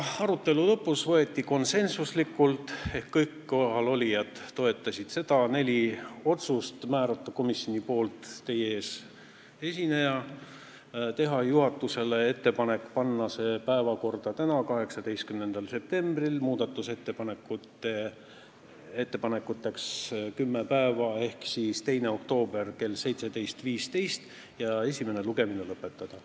Arutelu lõpus võeti konsensuslikult vastu neli otsust: määrata komisjoni ettekandjaks teie ees esineja, teha juhatusele ettepanek panna see eelnõu päevakorda täna, 18. septembril, muudatusettepanekute esitamiseks jätta kümme päeva ehk tähtaeg on 2. oktoobril kell 17.15 ja esimene lugemine lõpetada.